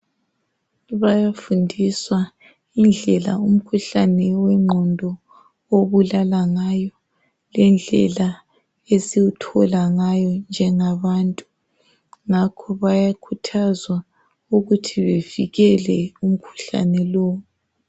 Bayafundiswa indlela umkhuhlane wengqondo obulala ngayo, lendlela esiwuthola ngayo njengabantu. Ngakho bayakhuthazwa ukuthi bevikele umkhuhlane lo.